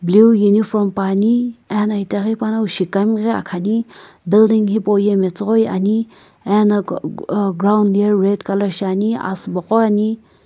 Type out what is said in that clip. blue uniform puani ena itaghi panongu wu shikukami ghi akhani building hipauye metsughoi ani ena kh uh ground ye red color shiani asübo qo ghi ani.